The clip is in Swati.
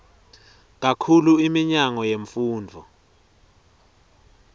kakhulu iminyango yemfundvo